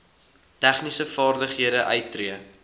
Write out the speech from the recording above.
tegniese vaardighede uittree